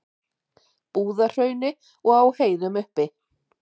Búðahrauni og á heiðum uppi.